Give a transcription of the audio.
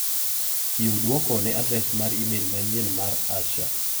Chiw duoko ne adres mar imel manyien mar Asha.